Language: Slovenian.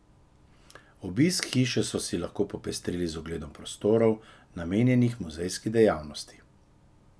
Obisk hiše so si lahko popestrili z ogledom prostorov, namenjenih muzejski dejavnosti.